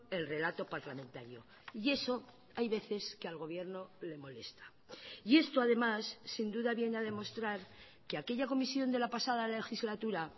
el relato parlamentario y eso hay veces que al gobierno le molesta y esto además sin duda viene a demostrar que aquella comisión de la pasada legislatura